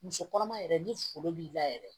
Muso kɔnɔma yɛrɛ ni foro b'i la yɛrɛ